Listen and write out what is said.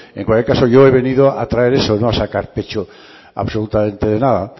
en cualquier caso yo he venido a traer eso no a sacar pecho absolutamente de nada